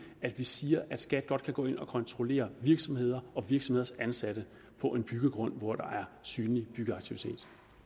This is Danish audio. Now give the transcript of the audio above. at vi siger at skat godt kan gå ind og kontrollere virksomheder og virksomheders ansatte på en byggegrund hvor der er synlig byggeaktivitet